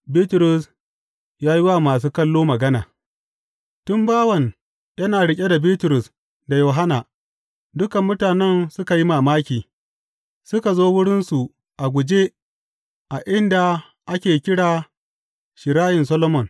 Bitrus ya yi wa masu kallo magana Tun mai bawan yana riƙe da Bitrus da Yohanna, dukan mutanen suka yi mamaki, suka zo wurinsu a guje a inda ake kira Shirayin Solomon.